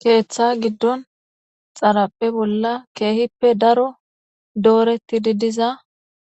keeththa giddon xaraphe bolla keehippe daro dooreti di diza